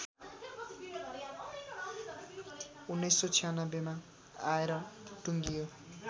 १९९६ मा आएर टुङ्गियो